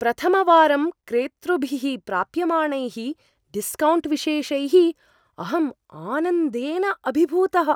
प्रथमवारं क्रेतृभिः प्राप्यमाणैः डिस्कौण्ट् विशेषैः अहम् आनन्देन अभिभूतः।